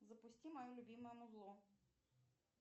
запусти мое любимое музло